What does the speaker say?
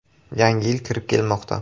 Yangi yil kirib kelmoqda.